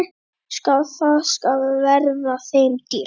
Það skal verða þeim dýrt!